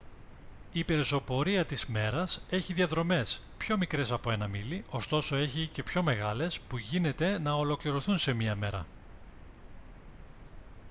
η πεζοπορία της μέρας έχει διαδρομές πιο μικρές από ένα μίλι ωστόσο έχει και πιο μεγάλες που γίνεται να ολοκληρωθούν σε μια ημέρα